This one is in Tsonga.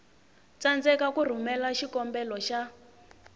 tsandzeka ku rhumela xikombelo xa